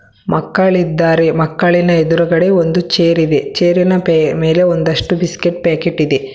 ಮಕ್ಕಳಿದ್ದಾರೆ ಮಕ್ಕಳಿನ ಎದುರುಗಡೆ ಒಂದು ಚೇರಿದೆ ಚೇರಿನ ಮೇಲೆ ಒಂದಷ್ಟು ಬಿಸ್ಕೆಟ್ ಪ್ಯಾಕೆಟ್ ಇದೆ.